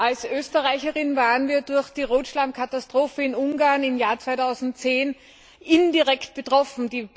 Als Österreicher waren wir durch die Rotschlammkatastrophe in Ungarn im Jahr 2010 indirekt betroffen.